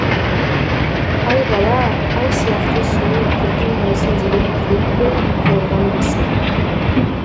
аи бала ай сияқты сұлу көркем болсын деген тілекпен қойылған есім